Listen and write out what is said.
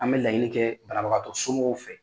An be laɲili kɛ banabagatɔ somɔgɔw fɛ